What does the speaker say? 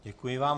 Děkuji vám.